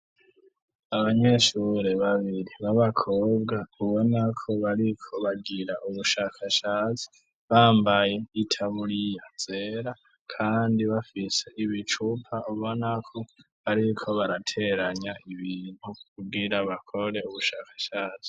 Abanyeshure babiri b'abakobwa ubonako bariko bagira ubushakashazi , bambaye itaburiya zera kandi bafise ibicupa ubonako bariko barateranya ibintu kugira bakore ubushakashatsi.